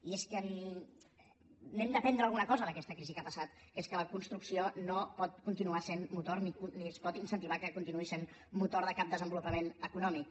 i és que n’hem d’aprendre alguna cosa d’aquesta crisi que ha passat que és que la construcció no pot continuar sent motor ni es pot incentivar que continuï sent motor de cap desenvolupament econòmic